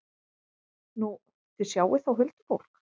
Nú, þið sjáið þá huldufólk?